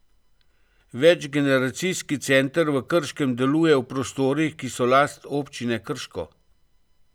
Večgeneracijski center v Krškem deluje v prostorih, ki so last Občine Krško.